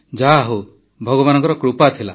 ଯାହାହେଉ ଭଗବାନଙ୍କ କୃପା ଥିଲା